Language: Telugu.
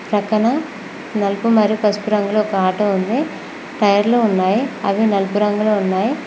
ప్రక్కన నలుపు మరి పసుపు రంగులో ఒక ఆటో ఉంది టైర్ లు ఉన్నాయి అవి నలుపు రంగులో ఉన్నాయి.